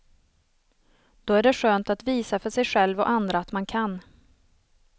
Då är det skönt att visa för sig själv och andra att man kan.